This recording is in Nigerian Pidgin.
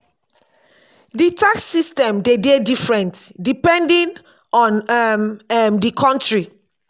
di tax system de dey different depending on um um di country